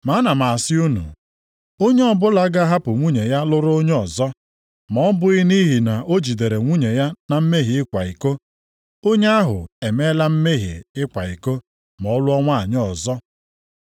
Ma ana m asị unu, onye ọbụla ga-ahapụ nwunye ya lụrụ onye ọzọ, ma ọ bụghị nʼihi na o jidere nwunye ya na mmehie ịkwa iko, onye ahụ emeela mmehie ịkwa iko ma ọ lụọ nwanyị ọzọ.”